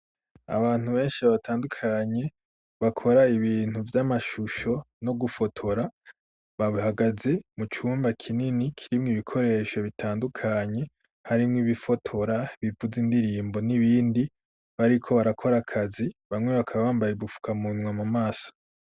abantu benshi abatandukanye bakora ibintu vy'amashusho no gufotora babhagaze mu cyumba kinini kirimwe ibikoresho bitandukanye hari mw ibifotora bivuze indirimbo n'ibindi bariko barakora akazi bamwe bakaba bambaye gufuka munwa mu maso